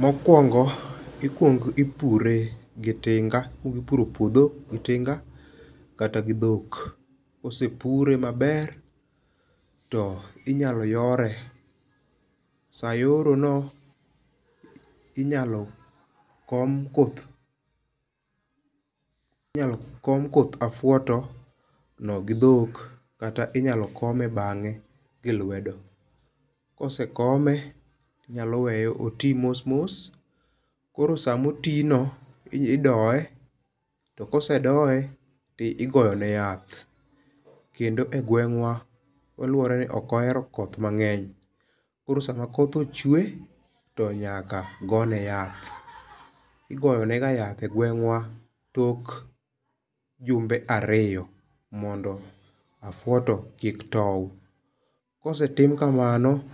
Mokwongo, ikwongo ipure gi tinga. Ikwongo ipuro puodhi gi tinga, kata gi dhok. Kosepure maber, to inyalo yore, sa yorono, inyalo kom koth, inyalo kom koth afuoto no gi dhok, kata inyalo kome bangé gi lwedo. Ka osekome, inyalo wee oti mos mos, koro sa ma oti no, idoye, to ka osedoye to igoyo ne yath. Kendo e gweng'wa, oluwore ni ok ohero koth mangény. Koro sama koth ochwe, to nyaka go ne yath. Igoyo ne ga yath e gweng'wa tok jumbe ariyo, mondo afuoto kik tou. Kosetim kamano,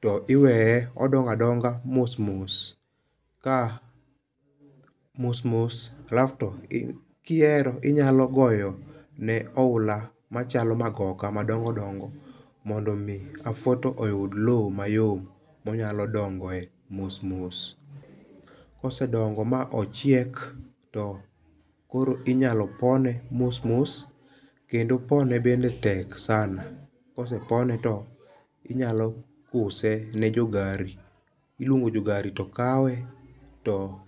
to iwee odongo adonga, mos mos ka mos mos, alafto, kihero inyalo goyo ne oula, machalo magoka madongo, dongo mondo omi afuoto oyud lowo mayom, monyalo dongoe mos mos. Kosedongo ma ochiek to koro inyalo pone mos mos. Kendo pone bende tek sana. Kosepone to inyalo use ne jo gari. Iluongo jo gari to kawe, to.